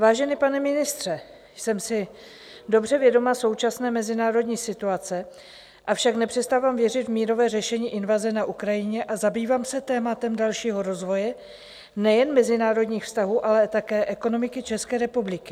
Vážený pane ministře, jsem si dobře vědoma současné mezinárodní situace, avšak nepřestávám věřit v mírové řešení invaze na Ukrajině a zabývám se tématem dalšího rozvoje nejen mezinárodních vztahů, ale také ekonomiky České republiky.